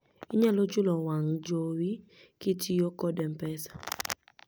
inyalo chulo wang' jowi kitiyo kod mpesa